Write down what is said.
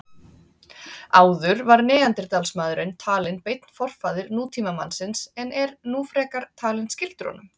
Áður var neanderdalsmaðurinn talinn beinn forfaðir nútímamannsins en er nú frekar talinn skyldur honum.